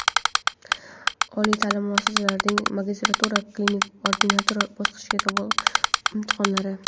oliy taʼlim muassasalarining magistratura (klinik ordinatura) bosqichiga qabul imtihonlari;.